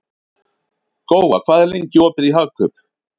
Góa, hvað er lengi opið í Hagkaup?